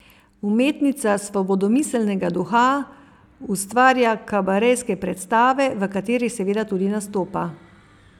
Umetnica svobodomiselnega duha ustvarja kabarejske predstave, v katerih seveda tudi nastopa.